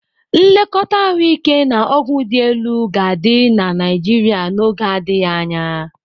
Nlekọta ahụike na ọgwụ dị elu ga-adị na Naịjirịa n'oge adịghị anya.